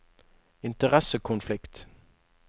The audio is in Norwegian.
interessekonflikt